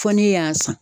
Fɔ ne y'a san